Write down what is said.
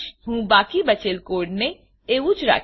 હું બાકી બચેલ કોડને એવું જ રાખીશ